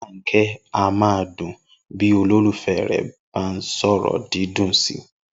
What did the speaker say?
Inú Róláké a máa dùn nígbà tí olólùfé̩ rè̩ bá sò̩rò̩ dídùn si